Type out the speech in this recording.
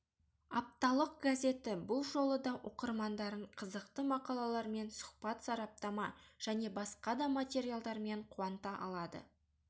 апталық газеті бұл жолы да оқырмандарын қызықты мақалалармен сұхбат сараптама және басқа да материалдармен қуанта алады